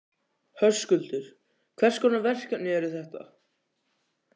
Höskuldur: Hvers konar verkefni eru þetta?